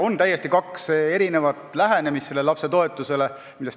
On täiesti kaks erinevat lähenemist lapsetoetusele.